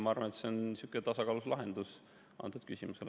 Ma arvan, et see on tasakaalus lahendus antud küsimusele.